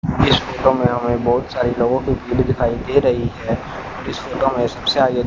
इस फोटो में हमें बहोत सारे लोगों की पीठ दिखाई दे रही है इस मे सबसे आगे--